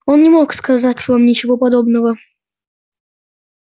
он не мог сказать вам ничего подобного